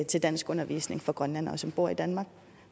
til danskundervisning for grønlændere som bor i danmark